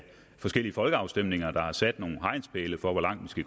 forskellige folkeafstemninger der har sat nogle hegnspæle for hvor langt vi